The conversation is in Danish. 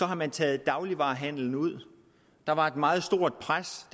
har man taget dagligvarehandelen ud der var et meget stort pres